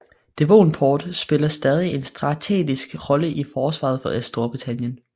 Devonport spiller stadig en strategisk rolle i forsvaret af Storbritannien